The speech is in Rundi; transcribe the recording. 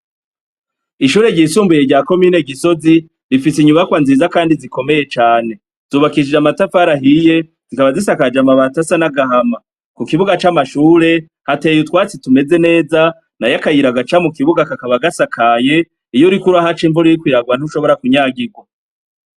Ishure ryisumbuye rya komine Gisozi, rifise inyubakwa nziza kandi zikomeye cane. Zubakishije amatafati ahiye, zikaba zisakaje amabati asa n'agahama. Mukibuga c'amashure, hateye utwatsi tumeze neza, nayo akayira gaca mukibuga kakaba gasakaye, iyo uriko urahaca imvura iriko iragwa ntushobora kunyagirwa.